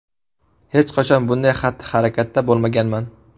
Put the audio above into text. Hech qachon bunday xatti-harakatda bo‘lmaganman.